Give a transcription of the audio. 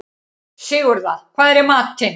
Sigurða, hvað er í matinn?